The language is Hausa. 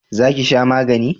Za ki sha magani?